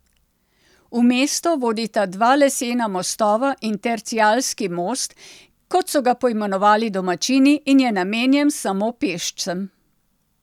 V mesto vodita dva lesena mostova in tercialski most, kot so ga poimenovali domačini, in je namenjen samo pešcem.